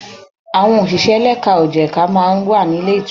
Àwọn òṣìṣẹ́ lẹ́ka ò jẹ̀ka máa ń wà ní ilé ìtura.